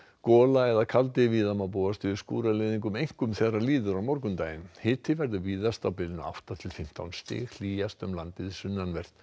gola eða kaldi víða má búast við einkum þegar líður á morgundaginn hiti verður víðast á bilinu átta til fimmtán stig hlýjast um landið sunnanvert